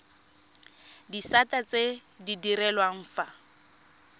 disata tse di direlwang fa